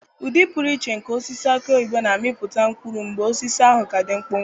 Ụdị pụrụ iche nke osisi aki oyibo na-amịpụta mkpụrụ mgbe osisi ahụ ka dị mkpụmkpụ.